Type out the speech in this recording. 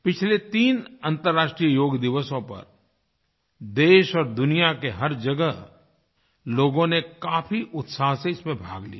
पिछले तीन अंतर्राष्ट्रीय योग दिवसों पर देश और दुनिया के हर जगह लोगों ने काफी उत्साह से इसमें भाग लिया